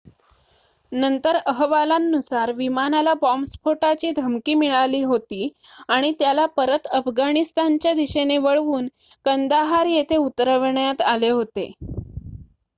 नंतर अहवालांनुसार विमानाला बॉम्बस्फोटाची धमकी मिळाली होती आणि त्याला परत अफगाणिस्तानच्या दिशेने वळवून कंदाहार येथे उतरवण्यात आले होते